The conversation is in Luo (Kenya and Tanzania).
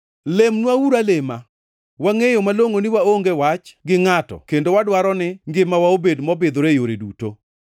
Lemnwauru alema. Wangʼeyo malongʼo ni waonge wach gi ngʼato kendo wadwaro ni ngimawa obed mobidhore e yore duto.